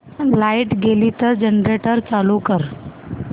light गेली तर generator चालू कर